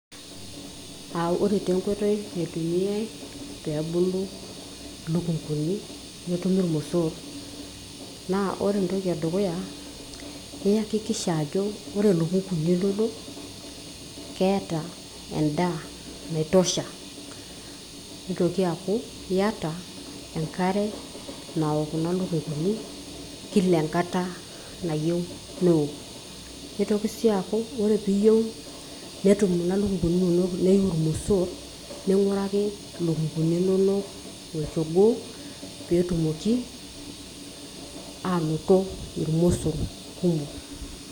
Ore taa enkoitoi naitumiai peebulu ilukunguni netumi ilomosorr naa ore entoki edukuya, iyakikisha ajo ore ilukunguni inonok keeta endaa naitosha, neitoki aaku iyata enkare nawok kuna lukunguni kila enkata nayieu newok. Neitoki sii aku ore piiyieu netum kuna lukunguni inonok neiu ilmosorr ning'uraki ilukunguni inonok olchogoo peetumoki anoto ilmosorr kumok.